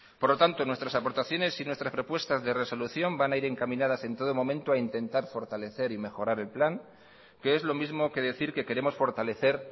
por lo tanto nuestras aportaciones y nuestras propuestas de resolución van a ir encaminadas en todo momento a intentar fortalecer y mejorar el plan que es lo mismo que decir que queremos fortalecer